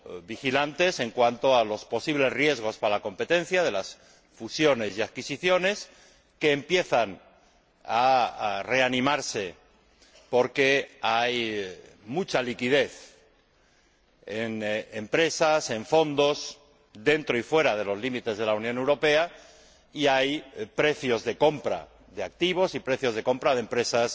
vigilantes en cuanto a los posibles riesgos para la competencia de las fusiones y adquisiciones, que empiezan a reanimarse porque hay mucha liquidez en empresas, en fondos, dentro y fuera de los límites de la Unión Europea, y hay precios de compra de activos y precios de compra de empresas